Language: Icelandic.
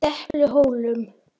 Depluhólum